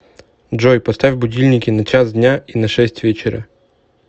джой поставь будильники на час дня и на шесть вечера